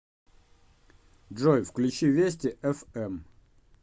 джой включи вести эф эм